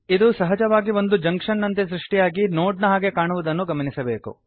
ಇದು ಸಹಜವಾಗಿ ಒಂದು ಜಂಕ್ಷನ್ ನಂತೆ ಸೃಷ್ಟಿಯಾಗಿ ನೋಡ್ ನ ಹಾಗೆ ಕಾಣುವುದನ್ನು ಗಮನಿಸಬೇಕು